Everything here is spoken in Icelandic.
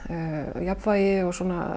jafnvægið og